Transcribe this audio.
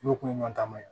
N'o kun ɲɔgɔnna ta ma